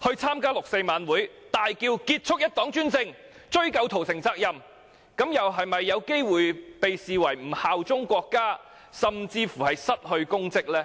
在六四晚會中大叫"結束一黨專政，追究屠城責任"，是否也有機會被視為不效忠國家，甚至會因而失去公職呢？